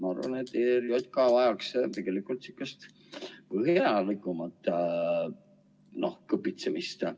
Ma arvan, et ERJK vajaks tegelikult sihukest põhjalikumat kõpitsemist.